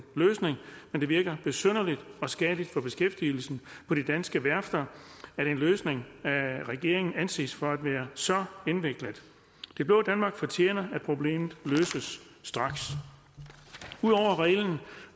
løsning men det virker besynderligt og skadeligt for beskæftigelsen på de danske værfter at en løsning af regeringen anses for at være så indviklet det blå danmark fortjener at problemet løses straks ud over reglen